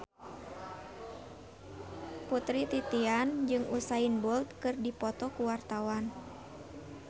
Putri Titian jeung Usain Bolt keur dipoto ku wartawan